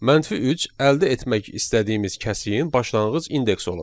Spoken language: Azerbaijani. -3 əldə etmək istədiyimiz kəsiyin başlanğıc indeksi olacaq.